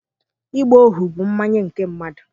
Ịgba ohu bụ mmanye nke mmadụ